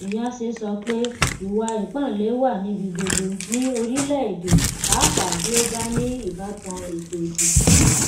iyase sọ pé ìwà ipáǹle wà níbi gbogbo ní orílẹ èdè pàápàá bí ó bá ní ìbátan ètò ìdìbò